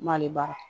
Malibara